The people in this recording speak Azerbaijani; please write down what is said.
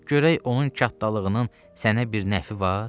Görək onun çatdalığının sənə bir nəfi var?